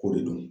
K'o de don